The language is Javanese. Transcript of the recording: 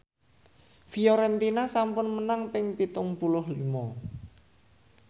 Fiorentina sampun menang ping pitung puluh lima